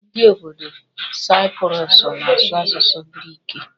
Ndị obodo Saipurusu na-asụ asụsụ giriki.